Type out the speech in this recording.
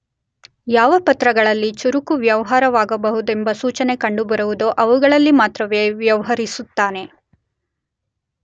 ಯಾವ ಪತ್ರಗಳಲ್ಲಿ ಚುರುಕು ವ್ಯವಹಾರಗಳಾಗಬಹುದೆಂಬ ಸೂಚನೆ ಕಂಡುಬರುವುದೋ ಅವುಗಳಲ್ಲಿ ಮಾತ್ರವೇ ವ್ಯವಹರಿಸುತ್ತಾನೆ.